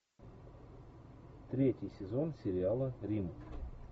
третий сезон сериала рим